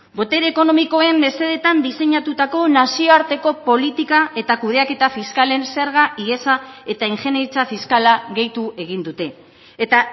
botere ekonomikoen mesedeetan diseinatutako nazioarteko politika eta kudeaketa fiskalen zerga ihesa eta ingeniaritza fiskala gehitu egin dute eta